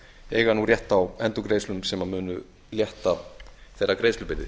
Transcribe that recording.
eiga nú rétt á endurgreiðslum sem munu létta þeirra greiðslubyrði